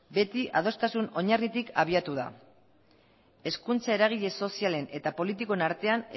beti adostasun oinarritik abiatu da hezkuntza eragile sozialen eta politikoen artean